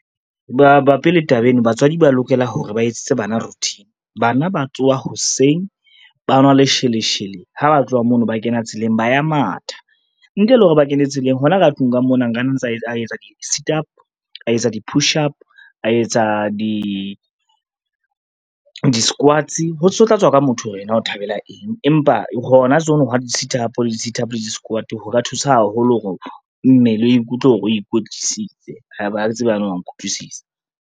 Babapi le taba eno batswadi ba lokela hore ba etsetse bana routine. Bana ba tsoha hoseng, ba nwa lesheleshele ha ba tloha mono, ba kena tseleng ba ya matha. Ntle le hore ba kene tseleng hona ka tlung ka mona nka nna ntsa a etsa di-situp, a etsa di-pushup, a etsa di-squads. Ho tla tswa ka motho hore yena o thabela eng, empa hona tseno ha di-sit up le di-situp le di-squad ho ka thusa haholo hore mmele o ikutlwe hore o ikwetlisitse ha ke tsebe na wa nkutlwisisa.